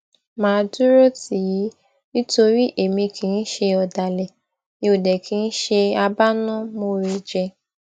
mà á dúró tì í nítorí èmi kì í ṣe ọdàlẹ mi ò dẹ kì í ṣe abánámòore jẹ